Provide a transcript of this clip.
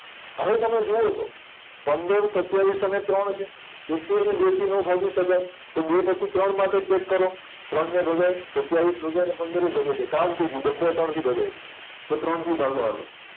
હવે તમે જુવો તો પંદર સત્યાવીસ અને ત્રણ છે એકેયને બે થી નો ભાગી શકાય તો બે પછી ત્રણ માટે ચેક કરો ત્રણને ભગાય સત્યાવીસએય ભગાય ને પંદરેય ભગાય જાય કામ થય ગયુ બધાય ત્રણથી ભગાય ગયા તો ત્રણથી ભાગો હાલો